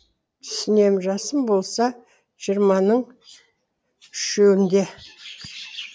түсінемін жасым болса жиырманың үшеуінде